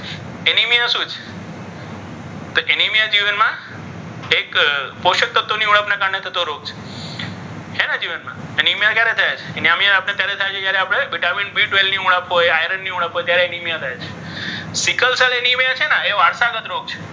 એક પોષક તત્વોની ઉણપને કારણે થતો રોગ છે. એને એનેમિયા ક્યારે થાય એનેમિયા ક્યારે થાય છે જ્યારે vitamin b twelve ની ઉણપથી આયર્નની ઉણપ હોય ત્યારે એનીમિયા થાય છે. સિકલ સેલ એનેમિયા છે ને એ વારસાગત રોગ છે.